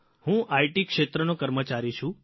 હું આઇટી ક્ષેત્રનો કર્મચારી છું